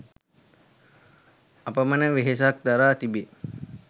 අපමණ වෙහෙසක් දරා තිබේ.